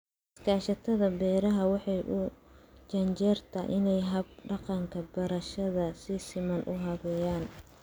Iskaashatada beerashada waxay u janjeertaa inay hab-dhaqanka beerashada si siman u habeeyaan.